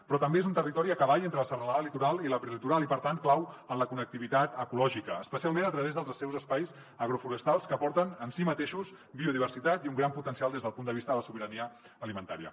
però també és un territori a cavall entre la serralada litoral i la prelitoral i per tant clau en la connectivitat ecològica especialment a través dels seus espais agroforestals que aporten en si mateixos biodiversitat i un gran potencial des del punt de vista de la sobirania alimentària